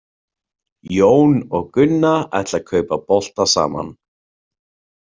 Jón og Gunna ætla að kaupa bolta saman.